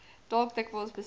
dalk dikwels besoek